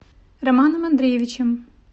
романом андреевичем